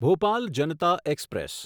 Bhopal Janata express